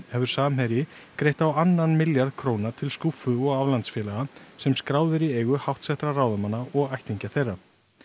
hefur Samherji greitt á annan milljarð króna til skúffu og aflandsfélaga sem skráð eru í eigu háttsettra ráðamanna og ættingja þeirra